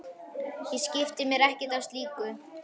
Ég skipti mér ekkert af slíku.